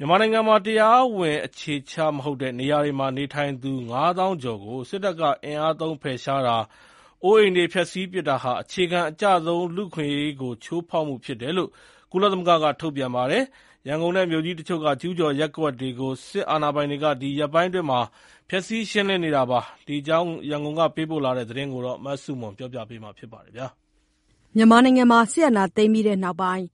မြန်မာနိုင်ငံမှာ တရားဝင်အခြေချမဟုတ်တဲ့ နေရာတွေမှာ နေထိုင်သူ ၅ သောင်းကျော်ကို စစ်တပ်က အင်အားသုံးဖယ်ရှားတာ၊ အိုးအိမ်တွေ ဖျက်စီးပစ်တာဟာ အခြေခံအကျဆုံးလူ့အခွင့်အရေးကိုချိုးဖောက်မှုဖြစ်တယ်လို့ ကုလသမဂ္ဂက ထုတ်ပြန်ပါတယ်။ ရန်ကုန်နဲ့မြို့ကြီးတချို့က ကျူးကျော်ရပ်ကွက်တွေကို စစ်အာဏာပိုင်တွေက ဒီရက်ပိုင်းအတွင်း ဖျက်ဆီးရှင်းလင်းနေတာပါ။ ဒီအကြောင်း ရန်ကုန်က ပေးပို့တဲ့သတင်းကို မဆုမွန်က တင်ပြပေးထားပါတယ်။ စစ်အာဏာသိမ်းပြီးနောက်ပိုင်း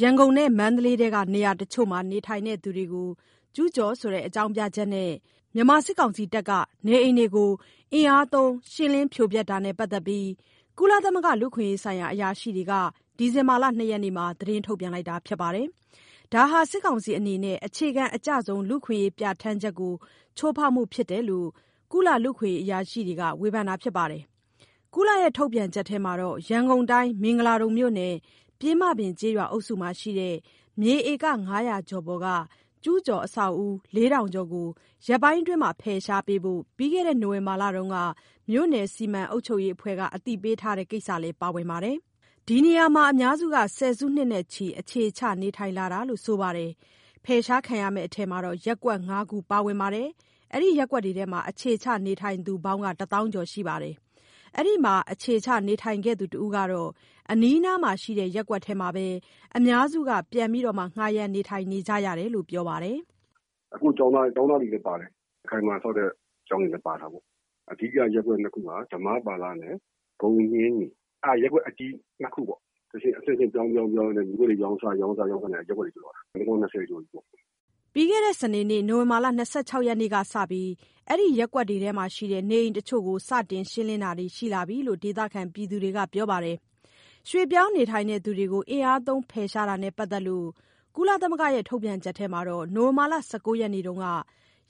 ရန်ကုန်နဲ့မန္တလေးနေရာတချို့မှာ နေထိုင်သူတွေကို ကျူးကျော်ဆိုတဲ့ အကြောင်းပြချက်နဲ့ မြန်မာစစ်တပ်က နေအိမ်တွေကို အင်အားသုံး ရှင်းလင်းဖြိုဖျက်တာနဲ့ ပတ်သက်ပြီး ကုလသမဂ္ဂ လူ့အခွင့်အရေးဆိုင်ရာအရာရှိတွေက ဒီဇင်ဘာလ ၂ ရက်နေ့မှာ ကြေညာချက်တစောင်ထုတ်ပြန်ပါတယ်။ ဒါဟာ စစ်ကောင်စီအနေနဲ့ အခြေခံအကျဆုံးလူ့အခွင့်အရေးပြဌာန်းချက်ကို ချိုးဖောက်မှုဖြစ်တယ်လို့ ကုလ လူ့အခွင့်အရေးအရာရှိတွေက ဝေဖန်ပါတယ်။ ကုလရဲ့ ထုတ်ပြန်ချက်ထဲမှာ ရန်ကုန်ုတိုင်း၊ မင်္ဂလာဒုံမြို့နယ်က ပျဉ်းမပင်ကျေးရွာ အုပ်စုမှာရှိတဲ့ မြေဧက ၅၀၀ ကျော်ပေါ်က ကျူးကျော်အဆောက်အဦး ၄,၀၀၀ ကျော်ကို ရက်ပိုင်းအတွင်း ဖယ်ရှားပေးဖို့ ပြီးခဲ့တဲ့ နိုဝင်ဘာလတုန်းက မြို့နယ်စီမံ အုပ်ချုပ်ရေးအဖွဲ့က အသိပေးထားတဲ့ကိစ္စလည်းပါဝင်ပါတယ်။ ဒီနေရာမှာ အများစုက ဆယ်စုနှစ်နဲ့ချီ အခြေချနေထိုင်လာတာလို့ ဆိုပါတယ်။ ဖယ်ရှားခံရမယ့်အထဲမှာ ရပ်ကွက် ၅ ခုပါဝင်ပြီး အခြေချနေထိုင်သူပေါင်း ၁ သောင်းကျော် ရှိပါတယ်။ အဲဒီမှာ အခြေခံနေထိုင်ခဲ့သူတဦးကတော့ အနီးအနားမှာရှိတဲ့ ရပ်ကွက်ထဲမှာပဲ အများစုက ပြန်လည်ငှားရမ်း နေထိုင်ကြတယ်လို့ ပြောပါတယ်။ "အခု ကျောင်းသားတွေလည်း ပါတယ်။ အခိုင်အမာဆောက်တဲ့ ကျောင်းတွေလည်း ပါတာပေါ့။ အဓိက ရပ်ကွက်နှစ်ခုက ဓမ္မပါလနဲ့ ဂုန်ညှင်းနီ အဲဒါရပ်ကွက်အကြီး နှစ်ခုပေါ့။ အဆင့်အဆင့် ပြောင်းရင်းပြောင်းရင်းနဲ့ မြေကွက်တွေ ရောင်းစားရင်းနဲ့ ရပ်ကွက်တွေ ဖြစ်သွားတာ။ နှစ်ပေါင်း ၂၀ ကျော်ပြီပေါ့။" နိုဝင်ဘာလ ၂၆ ရက်၊ ပြီးခဲ့တဲ့ စနေနေ့ကစပြီး အဲဒီရပ်ကွက်တွေမှာရှိတဲ့ နေအိမ်တချို့ကို စတင်ရှင်းလင်းတာတွေ ရှိလာပြီလို့ ဒေသခံတွေက ပြောပါတယ်။ ရွှေ့ပြောင်းနေထိုင်သူတွေကို အင်အားသုံးဖယ်ရှားတာနဲ့ ပတ်သက်လို့ ကုလရဲ့ ထုတ်ပြန်ချက်ထဲမှာ နိုဝင်ဘာလ ၁၉ ရက်တုန်းက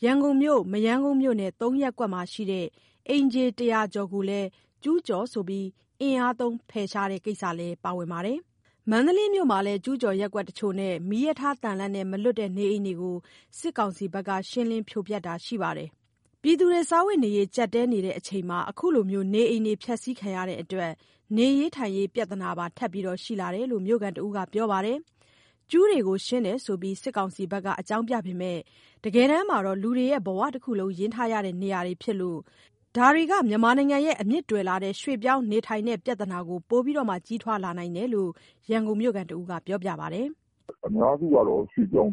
ရန်ကုန်မြို့၊ မရမ်းကုန်းမြို့နယ်က ၃ ရပ်ကွက်မှာရှိတဲ့ အိမ်ခြေ ၁၀၀ ကျော်ကိုလည်း ကျူးကျော်ဆိုပြီး အင်အားသုံးဖယ်ရှားတဲ့ ကိစ္စလည်းပါဝင်ပါတယ်။ မန္တလေးမြို့မှာလည်း ကျူးကျော်ရပ်ကွက်တချို့နဲ့ မီးရထားသံလမ်းနဲ့ မလွတ်တဲ့နေအိမ်တွေကို စစ်ကောင်စီဘက်က ရှင်းလင်းဖြိုဖျက်တာတွေ ရှိပါတယ်။ စားဝတ်နေရေး ကြပ်တည်းနေချိန်မှာ အခုလို နေအိမ်တွေ ဖျက်စီးခံရတဲ့အတွက် နေရေးထိုင်ရေး ပြဿနာပါ ထပ်ရှိလာတယ်လို့ မြို့ခံတဦးက ပြောပါတယ်။ ကျူးတွေကိုရှင်းတယ်ဆိုပြီး စစ်ကောင်စီဘက်က အကြောင်းပြပေမယ့် တကယ်တမ်းမှာ လူတွေရဲ့ ဘဝတခုလုံးကို ရင်းထားရတဲ့နေရာတွေ ဖြစ်လို့ ဒါတွေက မြန်မာနိုင်ငံရဲ့ အမြစ်တွယ်လာတဲ့ ရွှေ့ပြောင်းနေထိုင်တဲ့ ပြဿနာကို ပိုပြီးကြီးထွားလာနိုင်တယ်လို့ ရန်ကုန်မြိုခံက ပြောပါတယ်။ "အများစုကတော့ ရွှေ့ပြောင်း